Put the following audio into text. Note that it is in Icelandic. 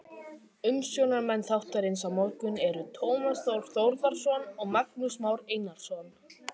Umsjónarmenn þáttarins á morgun eru Tómas Þór Þórðarson og Magnús Már Einarsson.